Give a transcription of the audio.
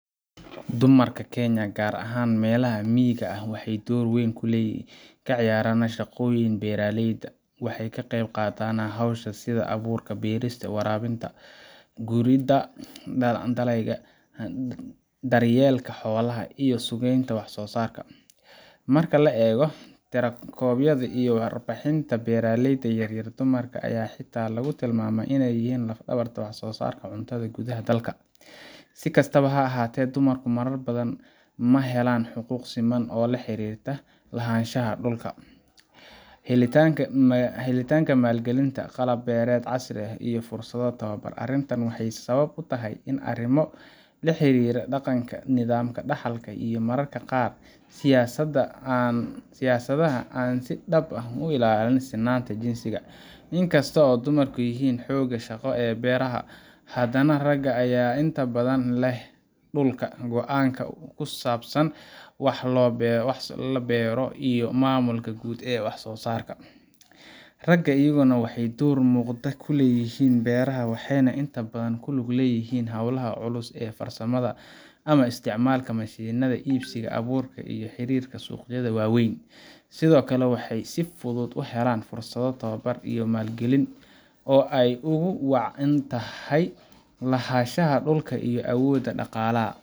Dumarka Kenya, gaar ahaan meelaha miyiga ah, waxay door aad u weyn ka ciyaaraan shaqooyinka beeraleyda. Waxay ka qeyb qaataan hawlaha sida abuurka beerista, waraabinta, guridda dalagyada, daryeelka xoolaha, iyo suuqgeynta wax-soo-saarka. Marka la eego tirakoobyada iyo warbixinaha beeraleyda yaryar, dumarka ayaa xitaa lagu tilmaamaa in ay yihiin laf-dhabarta wax-soo-saarka cuntada gudaha dalka. Si kastaba ha ahaatee, dumarku marar badan ma helaan xuquuq siman oo la xiriirta lahaanshaha dhul, helitaanka maalgelin, qalab beereed casri ah, iyo fursado tababar. Arrintan waxay sabab u tahay arrimo la xiriira dhaqanka, nidaamka dhaxalka, iyo mararka qaar siyaasadaha aan si dhab ah u ilaalin sinnaanta jinsiga. Inkasta oo dumarku yihiin xooggaga shaqo ee beeraha, haddana ragga ayaa inta badan leh dhulka, go'aanka ku saabsan wax la beero, iyo maamulka guud ee wax-soo-saarka. Ragga iyaguna waxay door muuqda ku leeyihiin beeraha, waxayna inta badan ku lug leeyihiin hawlaha culus ee farsamada ama isticmaalka mashiinnada, iibsiga abuurka, iyo xiriirka suuqyada waaweyn. Sidoo kale, waxay si fudud u helaan fursado tababar iyo maalgelin oo ay ugu wacan tahay lahaanshaha dhulka iyo awoodda dhaqaalaha.